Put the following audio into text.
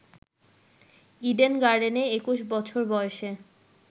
Eden গার্ডেনে ২১ বছর বয়সে